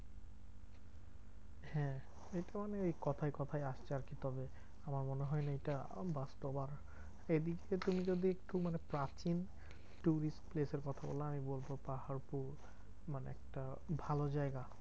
হ্যাঁ ঐটা মানে এই কোথায় কোথায় আসছে আরকি। তবে আমার মনে হয় না এইটা বাস্তব। আর এদিকটা তুমি যদি একটু মানে প্রাচীন tourist place এর কথা বলা হয়, বলতে পাহাড়পুর মানে একটা ভালো জায়গা।